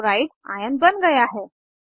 chloride Cl ion बन गया है